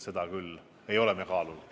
Seda me küll ei ole kaalunud.